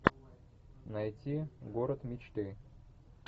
найти город мечты